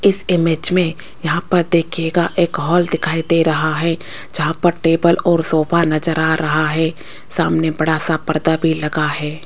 इस इमेज में यहां पर देखिएगा एक हॉल दिखाई दे रहा है जहां पर टेबल और सोफा नजर आ रहा है सामने बड़ा सा पर्दा भी लगा है।